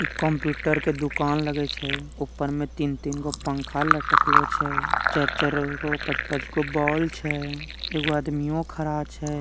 एक कंप्युटर के दुकान लगये छै । उपर मे तीन-तीन गो पंखा लटकलो छै । चर-चर पाच-पच गो बाउल छै । एगो आदमियों खड़ा छै ।